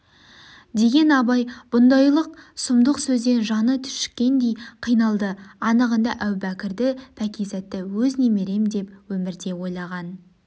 деген абай бұндайлық сұмдық сөзден жаны түршіккендей қиналды анығында әубәкірді пәкизатты өз немерем деп өмірде ойлаған